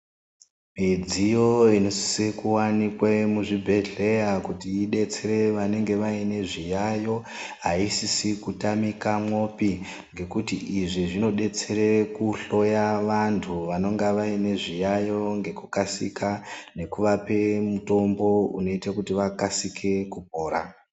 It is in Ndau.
Midziyo inosise kuwanikwe muzvibhedhlera kuti idetsere vanenge vaine zviyayo aisisi kutamikamwopi ngekuti izvi zvinodetsere kuhloya vantu vanonga vane zviyayo ngekukasika nekuvape mitombo unoita vakasike kupora.